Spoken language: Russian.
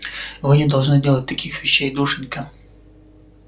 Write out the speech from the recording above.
вы не должны делать таких вещей душенька